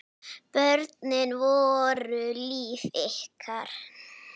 Börnin voru líf ykkar.